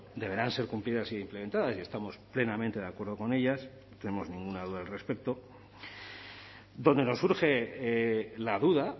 deberán ser cumplidas e implementadas y estamos plenamente de acuerdo con ellas no tenemos ninguna duda al respecto donde nos surge la duda